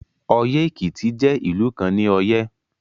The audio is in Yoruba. Oye-Ekiti jẹ ilu kan ni Oye